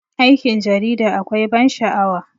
Aikin 'yan jarida akwai ban sha'awa.